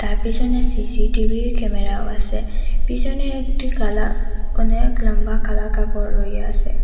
তার পিসনে সিসিটিভির ক্যামেরাও আসে পিসনে একটি কালা অনেক লম্বা কালা কাপড় রইয়াসে।